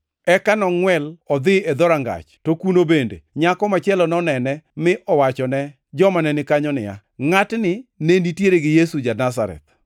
Eka nongʼwel odhi e dhorangach, to kuno bende nyako machielo nonene mi owachone joma ne ni kanyo niya, “Ngʼatni ne nitiere gi Yesu ja-Nazareth.”